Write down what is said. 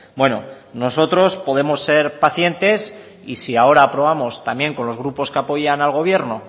bueno nosotros podemos ser pacientes y si ahora aprobamos también con los grupos que apoyan al gobierno